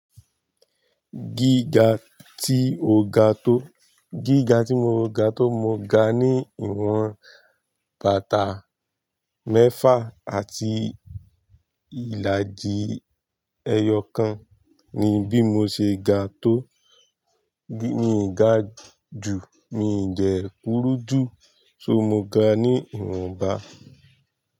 Gíga tí mó ga tó, mo ga ní ìwọn bàtà mẹ́fà àti ìlàjì ẹyọ kan ni bí mo ṣe ga tó, bí mi ga jù, mi dẹ kurú jù, so mo ga ní ìwọnba.